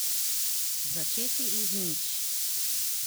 Začeti iz nič.